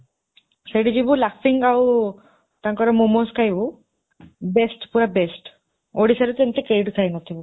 ସେଇଠି ଯିବୁ, ଆଉ ତାଙ୍କର momos ଖାଇବୁ, best ପୁରା best, ଓଡ଼ିଶାରେ ରେ ତ ଏମିତି କେହି ବି ଖାଇନଥିବୁ ।